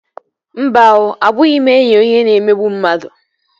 Mba oo, abụghị m enyi onye na-emegbu mmadụ